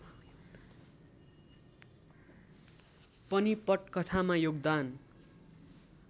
पनि पटकथामा योगदान